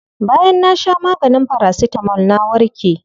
Bayan na sha maganin paracetamol na warke.